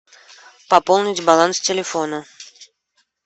пополнить баланс телефона